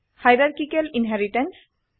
hierarchical inheritance